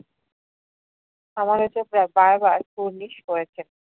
সমালোচকরা বার বার কুর্নিস করেছেন ।